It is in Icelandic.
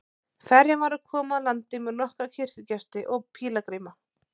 Ferjan var að koma að landi með nokkra kirkjugesti og pílagríma.